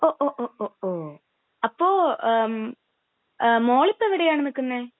ഓ, ഓ, ഒ ,ഒ, ഓ..അപ്പോ...മോളിപ്പോ എവിടെയാണ് നിക്കുന്നേ?